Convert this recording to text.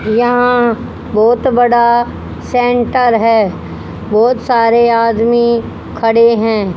यहां बहोत बड़ा सेंटर है बहोत सारे आदमी खड़े हैं।